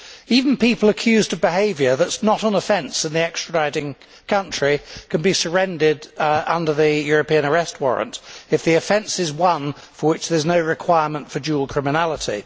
Even people accused of behaviour that is not an offence in the extraditing country can be surrendered under the European Arrest Warrant if the offence is one for which there is no requirement for dual criminality.